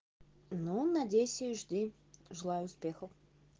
ну надейся и жди желаю успехов